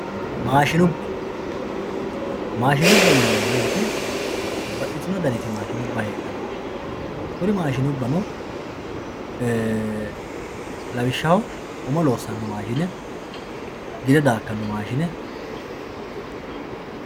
maashinibba maashinibba yineemo woyiite babbaxitino daniti maashinibba heexxanno kuri maashinibbano lawishshaho umo loosano maashine gide daakkanno maashine.